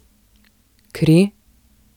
Kri?